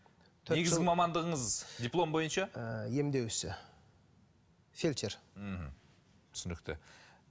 негізгі мамандығыңыз диплом бойынша емдеу ісі фельдшер ммм түсінікті